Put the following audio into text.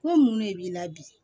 Ko mun ne b'i la bi